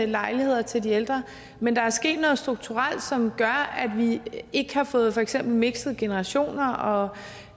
lejligheder til de ældre men der er sket noget strukturelt som gør at vi ikke har fået for eksempel mikset generationerne og